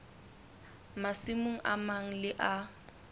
masimong a mang le a